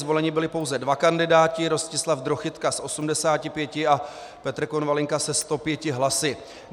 Zvoleni byli pouze dva kandidáti: Rostislav Drochytka s 85 a Petr Konvalinka se 105 hlasy.